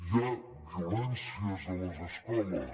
hi ha violències a les escoles